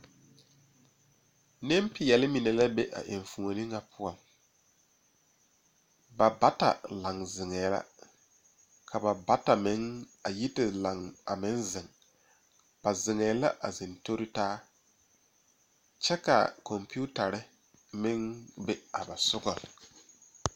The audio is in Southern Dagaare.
Nempeɛle mine la be a enfuoni ŋa poɔ ba bata lae zeŋee la ka ba bata meŋ a yi laŋ a meŋ zeŋ ba zeŋee la a zeŋ tori taa kyɛ kaa kɔmpiitare a meŋ be ba nimisogaŋ